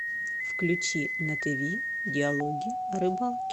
включи на тв диалоги о рыбалке